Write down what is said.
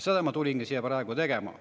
" Seda ma tulingi siia praegu tegema.